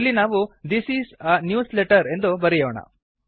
ಇಲ್ಲಿ ನಾವು this is a newsletter ಎಂದು ಬರೆಯೋಣ